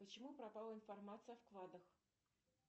почему пропала информация о вкладах